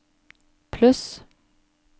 pluss